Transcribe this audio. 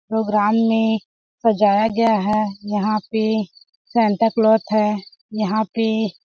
Programme में सजाया गया है। यहाँ पे सेंता कलोथ है। यहाँ पे --